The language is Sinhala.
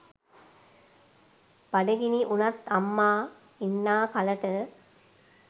බඩගිනි උනත් අම්මා ඉන්නා කලට